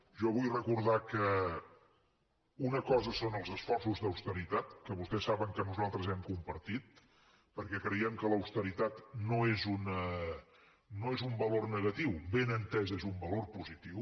jo vull recordar que una cosa són els esforços d’austeritat que vostès saben que nosaltres hem compartit perquè creiem que l’austeritat no és un valor negatiu ben entesa és un valor positiu